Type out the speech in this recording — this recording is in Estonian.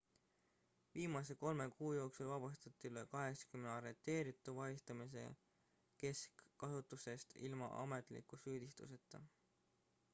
viimase 3 kuu jooksul vabastati üle 80 arreteeritu vahistamise keskasutusest ilma ametliku süüdistuseta